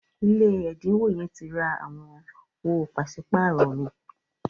ilé ẹdinwo yen ti rà àwọn owo paṣipaarọ mi.